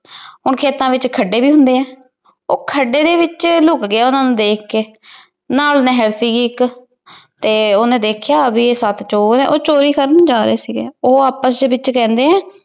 ਹੁਣ ਖੇਤਾ ਵਿੱਚ ਖੱਡੇ ਵੀ ਹੁੰਦੇ ਐ। ਉਹ ਖੱਡੇ ਦੇ ਵਿੱਚ ਲੁਕ ਗਿਆ ਉਹਨਾਂ ਨੂੰ ਦੇਖ ਕੇ। ਨਾਲ ਨਹਿਰ ਸੀਗੀ ਇੱਕ ਤੇ ਉਹਨੇ ਦੇਖਿਆ ਬੀ ਇਹ ਸੱਤ ਚੋਰ ਐ। ਉਹ ਚੋਰੀ ਕਰਨ ਜਾ ਰਹੇ ਸੀਗੇ। ਉਹ ਆਪਸ ਦੇ ਵਿਚ ਕਹਿੰਦੇ